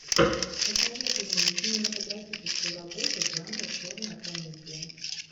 посоветуй мне кинематографическую работу жанра черная комедия